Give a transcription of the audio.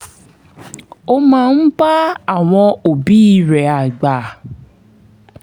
ó máa ń bá àwọn òbí rẹ̀ àgbà